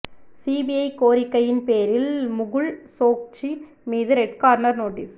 CBI கோரிக்கையின் பேரில் முகுல் சோக்சி மீது ரெட் கார்னர் நோட்டீஸ்